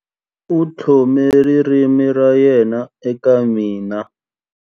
U tlhome ririmi ra yena eka mina.